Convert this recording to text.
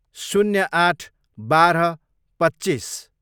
शून्य आठ, बाह्र, पच्चिस